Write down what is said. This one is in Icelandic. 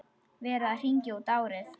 Verið að hringja út árið.